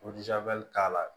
k'a la